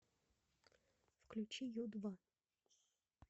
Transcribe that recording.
включи ю два